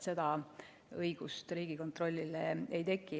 Seda õigust Riigikontrollil ei teki.